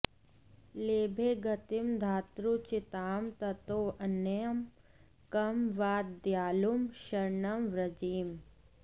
लेभे गतिं धात्र्युचितां ततोऽन्यं कं वा दयालुं शरणं व्रजेम